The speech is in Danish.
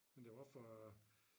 Men det var også for